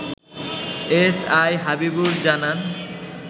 SI Habibur জানান